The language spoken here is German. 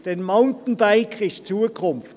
Denn das Mountainbiken ist die Zukunft.